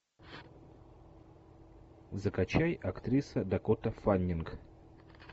закачай актриса дакота фаннинг